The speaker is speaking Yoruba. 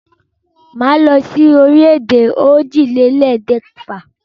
Màá lọ sí orílẹ̀-èdè òjìlélẹ̀ẹ́dẹ́gbẹ̀fà.